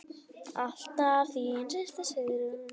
Alltaf þín systir, Sigrún.